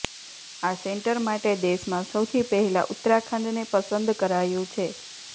આ સેન્ટર માટે દેશમાં સૌથી પહેલા ઉત્તરાખંડને પસંદ કરાયું છે